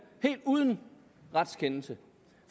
helt uden retskendelse